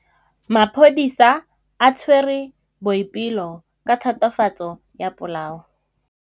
Maphodisa a tshwere Boipelo ka tatofatsô ya polaô.